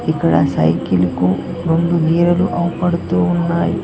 ఇక్కడ సైకిల్ కు రొండు వీలలు అవుపడుతున్నాయి.